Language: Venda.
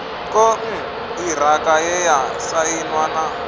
konṱiraka ye ya sainwa na